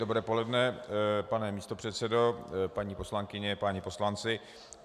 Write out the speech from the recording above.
Dobré poledne, pane místopředsedo, paní poslankyně, páni poslanci.